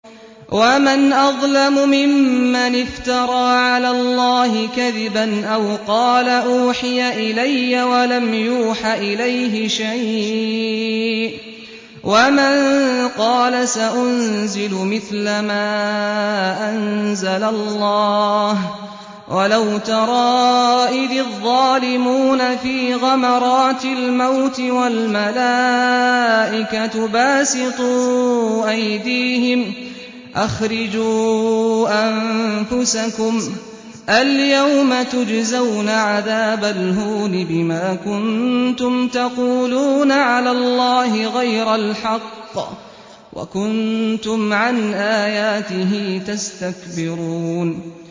وَمَنْ أَظْلَمُ مِمَّنِ افْتَرَىٰ عَلَى اللَّهِ كَذِبًا أَوْ قَالَ أُوحِيَ إِلَيَّ وَلَمْ يُوحَ إِلَيْهِ شَيْءٌ وَمَن قَالَ سَأُنزِلُ مِثْلَ مَا أَنزَلَ اللَّهُ ۗ وَلَوْ تَرَىٰ إِذِ الظَّالِمُونَ فِي غَمَرَاتِ الْمَوْتِ وَالْمَلَائِكَةُ بَاسِطُو أَيْدِيهِمْ أَخْرِجُوا أَنفُسَكُمُ ۖ الْيَوْمَ تُجْزَوْنَ عَذَابَ الْهُونِ بِمَا كُنتُمْ تَقُولُونَ عَلَى اللَّهِ غَيْرَ الْحَقِّ وَكُنتُمْ عَنْ آيَاتِهِ تَسْتَكْبِرُونَ